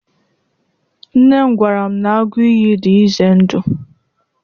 Nne m gwara m na agụ iyi dị ize ndụ.